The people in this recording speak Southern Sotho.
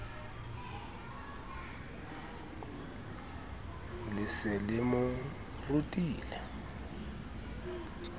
le se le mo rutile